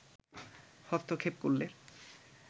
হস্তক্ষেপ করলে